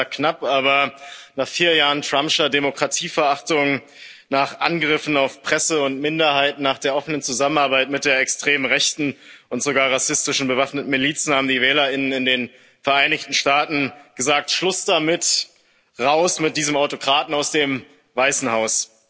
Zwar knapp, aber nach vier Jahren Trump'scher Demokratieverachtung, nach Angriffen auf Presse und Minderheiten, nach der offenen Zusammenarbeit mit der extremen Rechten und sogar rassistischen bewaffneten Milizen haben die Wählerinnen und Wähler in den Vereinigten Staaten gesagt Schluss damit, raus mit diesem Autokraten aus dem Weißen Haus.